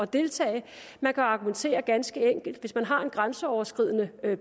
deltage man kan argumentere ganske enkelt hvis man har en grænseoverskridende